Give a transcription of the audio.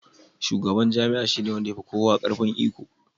Shugaban jami'a shi ne wanda ya fi kowa ƙarfin iko.